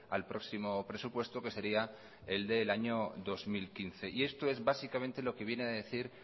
al próximo presupuesto que sería el del año dos mil quince y esto es básicamente lo que viene a decir